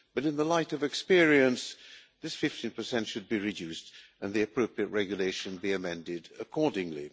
In the light of experience, this 15 should be reduced and the appropriate regulation be amended accordingly.